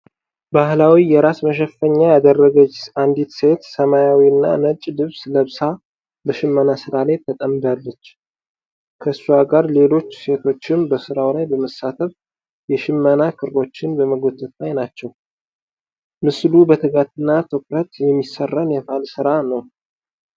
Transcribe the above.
ባህላዊ የራስ መሸፈኛ ያደረገች አንዲት ሴት ሰማያዊና ነጭ ልብስ ለብሳ በሽመና ሥራ ላይ ተጠምዳለች። ከእሷ ጋር ሌሎች ሴቶችም በሥራው ላይ በመሳተፍ የሽመና ክሮችን በመጎተት ላይ ናቸው። ምስሉ በትጋትና ትኩረት የሚሠራን የባህል ሥራ ነው።